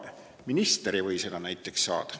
Näiteks minister ei või seda saada.